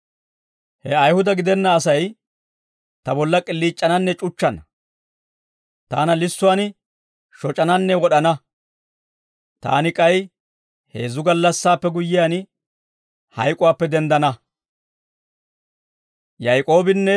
He Ayihuda gidenna Asay ta bolla k'iliic'ananne c'uchchana; taana lissuwaan shoc'ananne wod'ana; taani k'ay heezzu gallassaappe guyyiyaan, hayk'uwaappe denddana.»